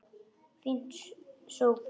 Fínn sófi!